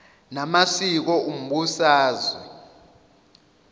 na masiko umbusazwe